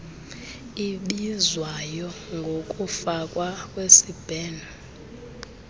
ibizwayo ngokufakwa kwesibheno